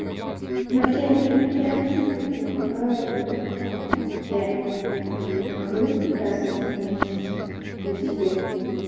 но я не прямо типа бухаю там я могу раз в месяц купить себе